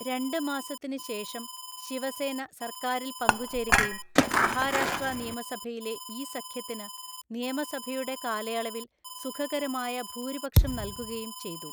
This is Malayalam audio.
രണ്ട് മാസത്തിന് ശേഷം ശിവസേന സര്‍ക്കാരില്‍ പങ്കുചേരുകയും മഹാരാഷ്ട്രാനിയമസഭയിലെ ഈ സഖ്യത്തിന് നിയമസഭയുടെ കാലയളവിൽ സുഖകരമായ ഭൂരിപക്ഷംനൽകുകയും ചെയ്തു.